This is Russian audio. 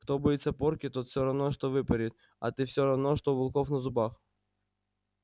кто боится порки тот всё равно что выпорит а ты всё равно что у волков на зубах